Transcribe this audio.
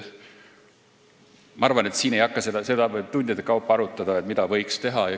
Ma arvan, et seda võiks siin tundide kaupa arutada, mida võiks teha.